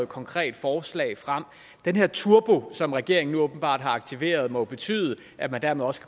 konkret forslag frem den her turbo som regeringen nu åbenbart har aktiveret må jo betyde at man dermed også